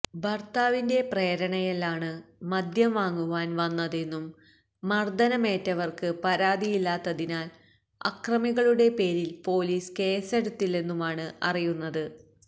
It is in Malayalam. ഭര്ത്താവിന്റെ പ്രേരണയാലാണ് മദ്യം വാങ്ങുവാന് വന്നതെന്നും മര്ദ്ദനമേറ്റവര്ക്ക് പരാതിയില്ലാത്തതിനാല് അക്രമികളുടെ പേരില് പോലീസ് കേസെടുത്തില്ലെന്നുമാണ് അറിയുന്നത്